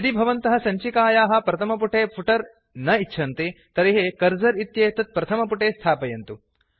यदि भवन्तः सञ्चिकायाः प्रथमपुटे फुटर् न इच्छन्ति तर्हि कर्सर् इत्येतत् प्रथमपुटे स्थापयन्तु